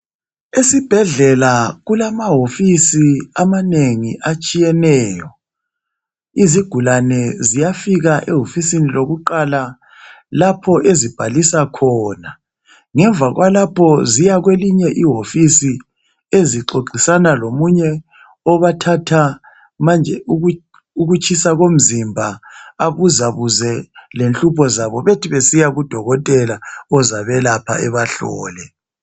Esibhedlela kulama hofisi amane gi atshiyeneyo, izigulane ziyafika ehofisini lokuqala lapha ezibhalisa khona, ngemva kwalapho zoya kwelinye ihofisi ezixoxisana lomunye obathatha ukutshisa komzimba abuzabuze ngenhlupho zabo besebesiya kudokotela ozabahlole ebalaphe.